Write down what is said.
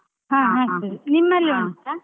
ನಿಮ್ಮಲ್ಲಿ ಉಂಟಾ?